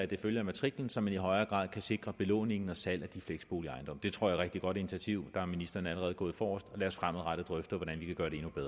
det følger matriklen så man i højere grad kan sikre belåningen og salget af de fleksboligejendomme det tror jeg rigtig godt initiativ der er ministeren allerede gået forrest lad os fremadrettet drøfte hvordan vi kan